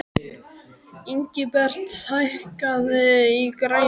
Ingibert, hækkaðu í græjunum.